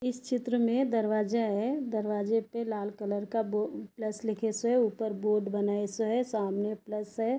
इस चित्र में दरवाजा है दरवाजे पे लाल कलर का बो प्लस लिखे से ऊपर बोर्ड बना सो है सामने प्लस है।